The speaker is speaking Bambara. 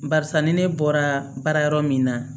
Barisa ni ne bɔra baara yɔrɔ min na